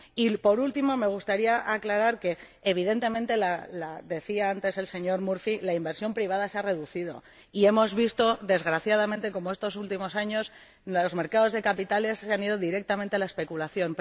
Y, por último, me gustaría aclarar que, evidentemente, como decía antes el señor Murphy, la inversión privada se ha reducido y hemos visto, desgraciadamente, cómo estos últimos años los mercados de capitales han recurrido directamente a la especulación.